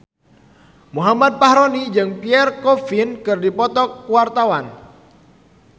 Muhammad Fachroni jeung Pierre Coffin keur dipoto ku wartawan